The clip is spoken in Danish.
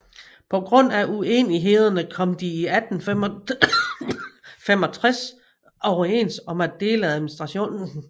På grund af unenighederne kom de i 1865 overens om at dele administrationen